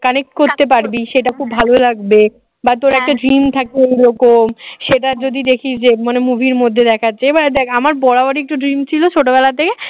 connect করতে পারবি সেটা খুব ভালো লাগবে বা তোর একটা dream থাকবে ওরকম সেটা যদি দেখিস যে মানে movie মধ্যে দেখাচ্ছে এবার দেখ আমার বরাবরই একটা dream ছিল ছোটবেলাতে